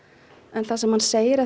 en það sem hann segir